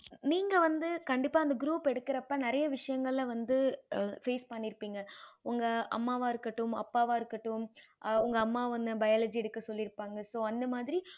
நீங்க வந்து கண்டிப்பா அந்த group எடுக்கறப்ப நெறைய விஷ்யங்கள வந்து feel பன்னிருபிங்க உங்க அம்மாவ இருக்கட்டும் உங்க அப்பாவ இருக்கட்டும் உங்க உன்ன biology எடுக்க சொல்லிருபாங்க so அந்த மாதிரி